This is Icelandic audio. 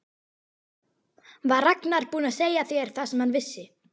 Var Ragnar búinn að segja þér það sem hann vissi?